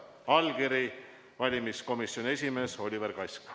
" Allkirja on pannud valimiskomisjoni esimees Oliver Kask.